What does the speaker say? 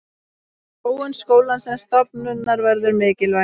Þróun skólans sem stofnunar verður mikilvæg.